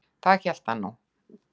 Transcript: Það hélt hann nú.